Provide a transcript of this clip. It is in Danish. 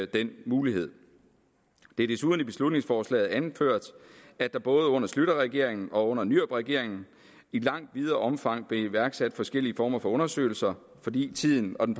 denne mulighed det er desuden anført i beslutningsforslaget at der både under schlüterregeringen og under nyrupregeringen i langt videre omfang blev iværksat forskellige former for undersøgelser fordi tiden og den